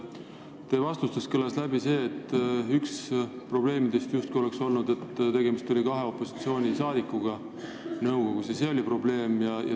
Teie vastustest kõlas läbi, et üks probleemidest oleks justkui olnud see, et nõukogus oli kaks opositsiooni liiget.